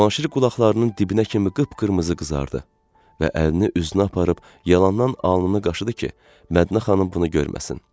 Cavanşir qulaqlarının dibinə kimi qıpqırmızı qızardı və əlini üzünə aparıb yalandan alnını qaşıdı ki, Mədinə xanım bunu görməsin.